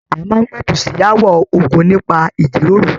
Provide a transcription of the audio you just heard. A máa n p'ẹ̀tú sí aawọ ogún nípa ijiroro.